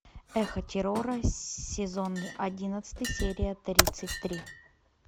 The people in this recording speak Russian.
эхо террора сезон одиннадцатый серия тридцать три